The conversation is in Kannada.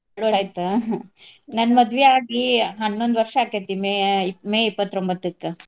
ಎರ್ಡ್ ಆಯ್ತಾ ನನ್ನ್ ಮದ್ವಿ ಆಗಿ ಹನ್ನೊಂದ್ ವರ್ಷ ಅಕ್ಕೆತಿ May ಆಹ್ May ಇಪ್ಪತ್ರೋಂಬತ್ತಕ್ಕ.